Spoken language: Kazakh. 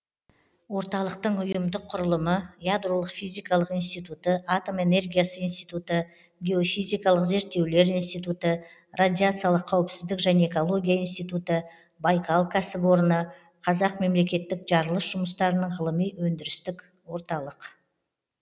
орталықтың ұйымдық құрылымы ядролық физикалық институты атом энергиясы институты геофизикалық зерттеулер институты радиациялық қауіпсіздік және экология институты байкал кәсіпорны қазақ мемлекеттік жарылыс жұмыстарының ғылыми өндірістік орталық